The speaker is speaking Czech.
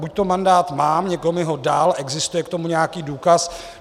Buďto mandát mám, někdo mi ho dal, existuje k tomu nějaký důkaz.